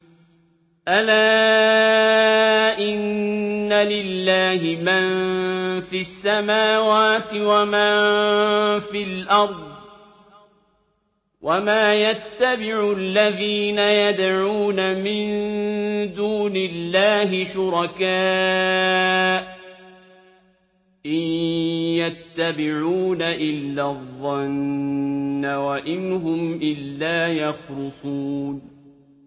أَلَا إِنَّ لِلَّهِ مَن فِي السَّمَاوَاتِ وَمَن فِي الْأَرْضِ ۗ وَمَا يَتَّبِعُ الَّذِينَ يَدْعُونَ مِن دُونِ اللَّهِ شُرَكَاءَ ۚ إِن يَتَّبِعُونَ إِلَّا الظَّنَّ وَإِنْ هُمْ إِلَّا يَخْرُصُونَ